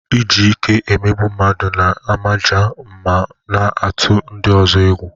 Iji ike emegbu mmadụ na-amaja ma na-atụ ndị ọzọ egwu.